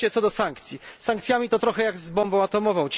I wreszcie co do sankcji z sankcjami jest trochę jak z bombą atomową.